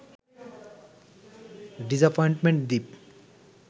disappointment Dwip